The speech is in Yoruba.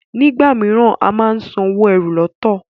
nigbamiran a món sàn owo ẹ́rù lọtọ.